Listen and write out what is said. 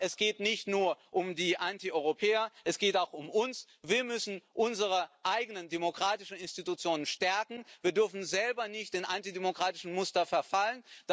Aber es geht nicht nur um die Antieuropäer, es geht auch um uns. Wir müssen unsere eigenen demokratischen Institutionen stärken, wir dürfen selber nicht den antidemokratischen Mustern verfallen.